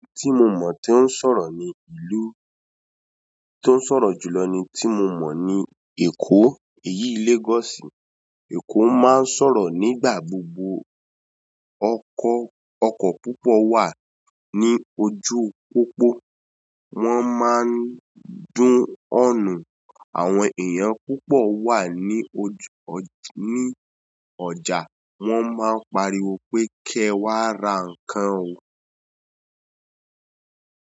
Tí mo mọ̀ tí ń sọ̀rọ̀ ni ìlú, tó ń sọ̀rọ̀ jùlọ ni tí mo mọ̀ ni Èkó, èyí Lagosi. Ẹ̀ko máa ń sọ̀rọ̀ nígbà gbogbo. Ọkọ̀ púpọ̀ wà ní ojú pópó, wọ́n máa ń dún ọọnuu. Àwọn èèyàn púpọ̀ wà ní ọ̀jà, wọ́n máa ń pariwo pé kẹ́ wá ra nǹkan o.